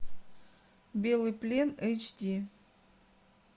белый плен эйч ди